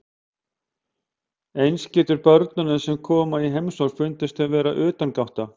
Eins getur börnunum sem koma í heimsókn fundist þau vera utangátta.